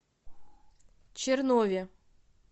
чернове